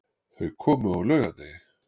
Þau komu á laugardegi.